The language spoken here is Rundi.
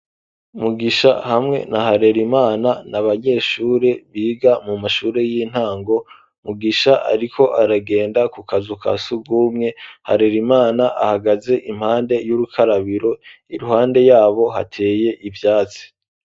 Mugisha hamwe na harerimana n'abanyeshuri biga mu mashuri y'intango Mugisha ariko aragenda ku kazu ka sugumwe harerimana ahagaze impande y'urukarabiro iruhande yabo hateye ivyatsi